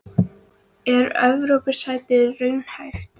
Er Evrópusæti raunhæft?